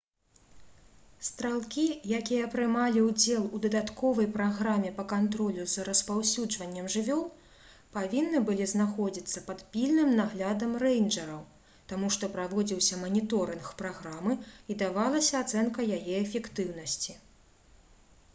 стралкі якія прымалі ўдзел у дадатковай праграме па кантролю за распаўсюджваннем жывёл павінны былі знаходзіцца пад пільным наглядам рэйнджэраў таму што праводзіўся маніторынг праграмы і давалася ацэнка яе эфектыўнасці